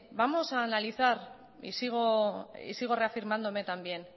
vamos a analizar y sigo reafirmándome también